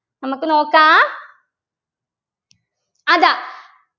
നമുക്ക് നോക്കാം അതാ